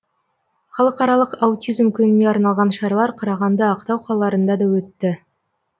халықаралық аутизм күніне арналған шаралар қарағанды ақтау қалаларында да өтті